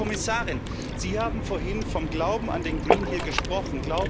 Frau Kommissarin, Sie haben vorhin vom Glauben an den Green Deal gesprochen.